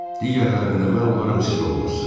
Digərlərində mən olaram, siz olmazsız.